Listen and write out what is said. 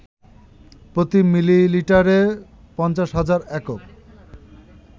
প্রতি মিলিলিটারে ৫০,০০০ একক